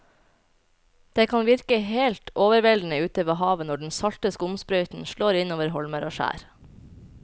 Det kan virke helt overveldende ute ved havet når den salte skumsprøyten slår innover holmer og skjær.